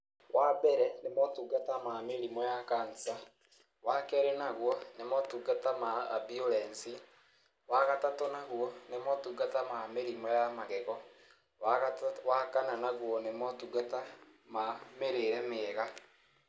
Wambere nĩ motungata ma mĩrimũ ya kansa, wa kerĩ naguo nĩ motungata ma amburensi, wagatatũ naguo nĩ motungata ma mĩrimũ ya magego, waga wakana naguo nĩ motungata ma mĩrĩre mĩega.